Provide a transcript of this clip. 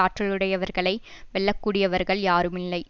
ஆற்றலுடையவர்களை வெல்லக்கூடியவர்கள் யாருமில்லை